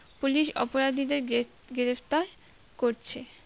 police অপরাধীদের গ্রেপ~গ্রেপ্তার করছে